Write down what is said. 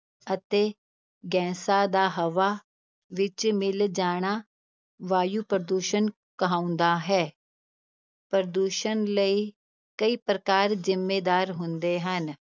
ਅਤੇ ਗੈਸਾਂ ਦਾ ਹਵਾ ਵਿਚ ਮਿਲ ਜਾਣਾ ਵਾਯੂ ਪ੍ਰਦੂਸ਼ਣ ਕਹਾਉਂਦਾ ਹੈ ਪ੍ਰਦੂਸ਼ਣ ਲਈ ਕਈ ਪ੍ਰਕਾਰ ਜ਼ਿੰਮੇਦਾਰ ਹੁੰਦੇ ਹਨ,